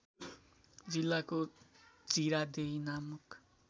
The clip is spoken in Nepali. जिल्लाको जिरादेई नामक